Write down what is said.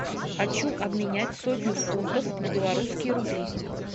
хочу обменять сотню фунтов на белорусские рубли